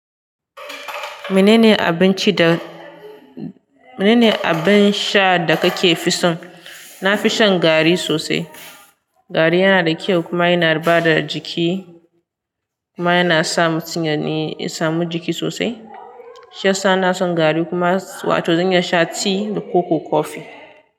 Mene ne abinci da mene ne abin sha da kake fi son? Na fi shan garri sosai. Garri yana da kyau kuma yana bada jiki kuma yana sa mutum ya ne ya samu jiki sosai. Shi yasa ina son garri kuma wato zan iya sha ti da koko kofi.